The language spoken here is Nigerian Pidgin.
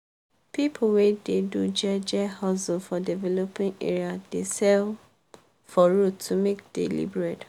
people wey dey do jeje hustle for developing area dey sell for road to make daily bread.